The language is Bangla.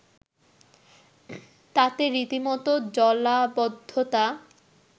তাতে রীতিমত জলাবদ্ধতা